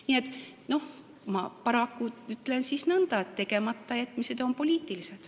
Nii et ma ütlen siis nõnda, et tegematajätmised on poliitilised.